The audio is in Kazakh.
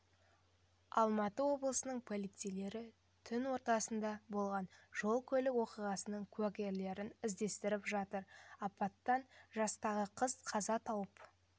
алматы облысының полицейлері түн ортасында болған жол-көлік оқиғасының куәгерлерін іздестіріп жатыр апаттан жастағы қыз қаза тауып